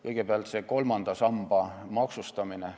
Kõigepealt, kolmanda samba maksustamine.